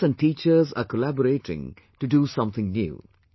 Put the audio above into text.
The students and teachers are collaborating to do something new